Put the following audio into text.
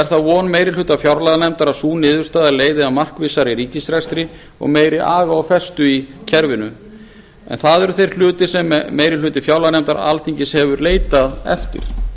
er það von meiri hluta fjárlaganefndar að sú niðurstaða leiði að markvissari ríkisrekstri og meiri aga og festu í kerfinu en það eru þeir hlutir sem meiri hluti fjárlaganefndar alþingis hefur leitað eftir